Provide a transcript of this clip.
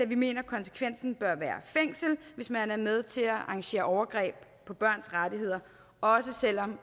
vi mener at konsekvensen bør være fængsel hvis man er med til at arrangere overgreb på børns rettigheder også selv om